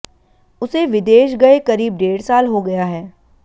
उसे विदेश गए करीब डेढ़ साल हो गया है